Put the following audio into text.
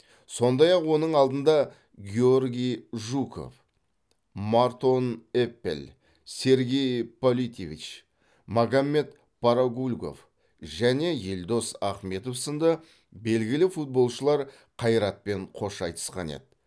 сондай ақ оның алдында георгий жуков мартон эппель сергей политевич магомед парагульгов және елдос ахметов сынды белгілі футболшылар қайратпен қош айтысқан еді